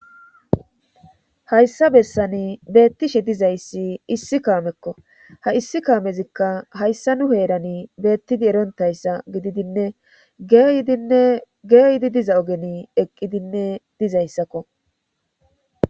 hayssa bessani beettishe dizayssi issi kaamekko ha issi kaamezikka hayssa nu heerani beettidi erontayssa gididinne geydinne geeyidi diza ogeni eqqidinne dizayssakko